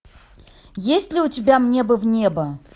есть ли у тебя мне бы в небо